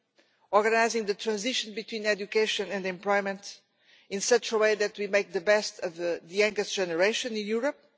and organising the transition between education and employment in such a way that we make the best of the youngest generation in Europe.